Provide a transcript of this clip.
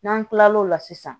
N'an kila l'o la sisan